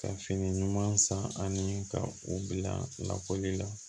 Ka fini ɲuman san ani ka u bila lakɔli la